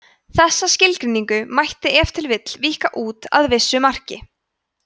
þessa skilgreiningu mætti ef til vill víkka út að vissu marki